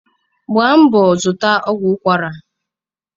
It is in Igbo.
Gba mbọ zụta ezigbo ọgwụ ụkwara